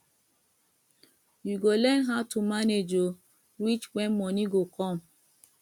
you go learn how to manage o reach wen moni go come